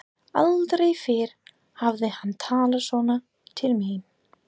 Aldrei fyrr hafði hann talað svona til mín.